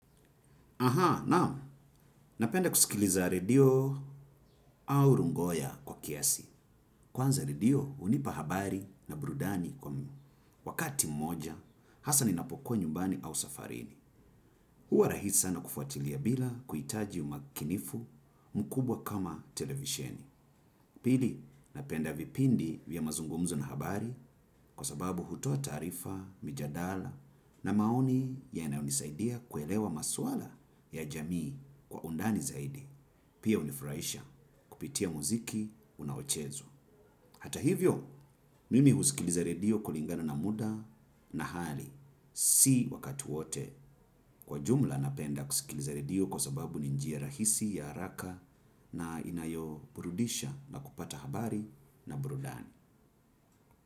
Naamu, napenda kusikiliza redio au rungoya kwa kiasi. Kwanza redio hunipa habari na burudani kwa wakati mmoja, hasa ninapokuwa nyumbani au safarini. Huwa rahisi sana kufuatilia bila kuhitaji umakinifu mkubwa kama televisheni. Pili, napenda vipindi vya mazungumzo na habari kwa sababu hutoa taarifa, mijadala na maoni yanayonisaidia kuelewa masuala ya jamii kwa undani zaidi. Pia hunifurahisha kupitia muziki unaochezwa. Hata hivyo, mimi husikiliza redio kulingana na muda na hali. Si wakati wote kwa jumla napenda kusikiliza redio kwa sababu ni njia rahisi ya haraka na inayo burudisha na kupata habari na burudani.